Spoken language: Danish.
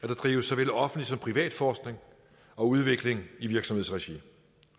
drives såvel offentlig som privat forskning og udvikling i virksomhedsregi